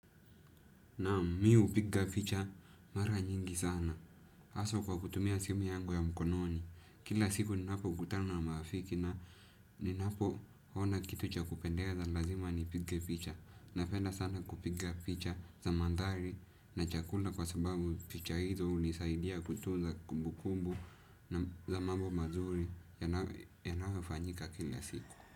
Naam mih hupiga picha mara nyingi sana. Aswa kwa kutumia simu yangu ya mkononi. Kila siku ninapo kutana na maafiki na ninapo ona kitu chakupendeza lazima ni piga picha. Napenda sana kupiga picha za mandhari na chakula kwa sababu picha hizo hunisaidia kutunza kumbu kumbu na za mambo mazuri yayo fanyika kila siku.